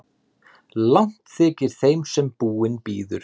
Langt þykir þeim sem búinn bíður.